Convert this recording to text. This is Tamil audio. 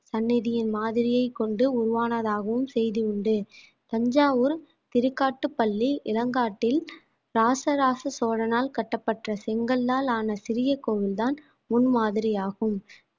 சன்னதியின் மாதிரியை கொண்டு உருவானதாகவும் செய்தி உண்டு தஞ்சாவூர் திருக்காட்டுப்பள்ளி இளங்காட்டில் ராச ராச சோழனால் கட்டப்பட்ட செங்கல்லால் ஆன சிறிய கோவில்தான் முன்மாதிரியாகும்